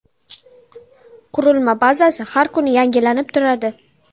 Qurilma bazasi har kuni yangilanib turadi.